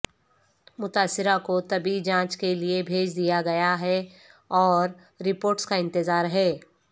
متاثرہ کو طبی جانچ کے لئے بھیج دیاگیا ہے اور رپورٹس کا انتظار ہے